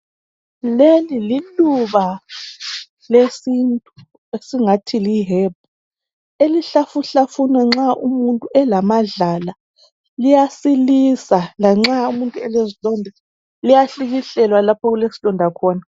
Leli liluba lesintu esingathi lihebhu elihlafuhlafunwa nxa umuntu elamadlala liyasilisa lanxa umuntu elezilonda liyahlikihlelwa lapho okulesilonda khona.